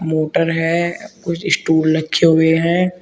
Motor है कुछ stool रखे हुए हैं।